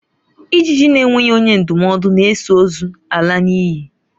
Ijiji na-enweghi onye ndumodu na-eso ozu ala n'inyi